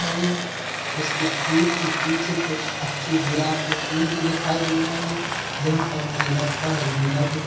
उसके फूलों के पीछे कुछ अच्छे गुलाब के फूल भी दिखाई दे रहे है जहाँ पर मुझे लगता है गेंदा के फूल भी है।